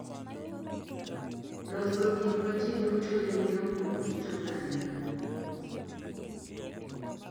Loso gik ma ji duto yudo kuom kit oganda